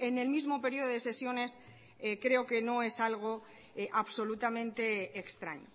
en el mismo periodo de sesiones creo que no es algo absolutamente extraño